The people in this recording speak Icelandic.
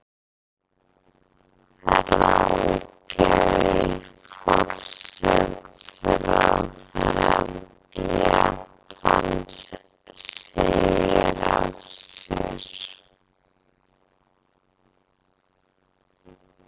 Ráðgjafi forsætisráðherra Japans segir af sér